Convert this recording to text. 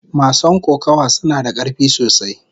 Mason kokawa suna da karfi sosai.